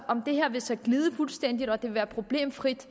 om det her vil glide fuldstændigt og det vil være problemfrit